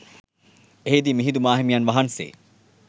එහිදී මිහිඳු මාහිමියන් වහන්සේ